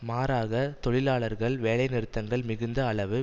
மாறாக தொழிலாளர்கள் வேலைநிறுத்தங்கள் மிகுந்த அளவு